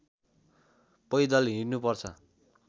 पैदल हिँड्नुपर्छ